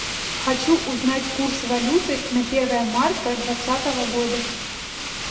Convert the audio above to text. хочу узнать курс валюты на первое марта двадцатого года